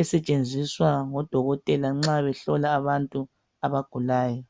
esetshenziswa ngo dokotela nxa behlola abantu abagulayo.